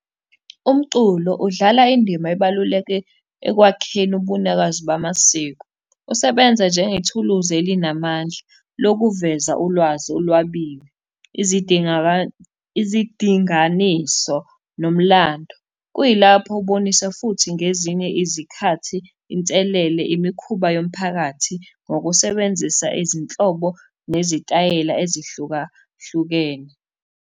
Umculo udlala indima ebaluleke ekwakheni ubunikazi bamasiko. Usebenza njengethuluzi elinamandla lokuveza ulwazi olwabile, izidinganiso nomlando. Kuyilapho ubonisa futhi ngezinye izikhathi inselele, imikhuba yomphakathi, ngokusebenzisa izinhlobo nezitayela ezihlukahlukene.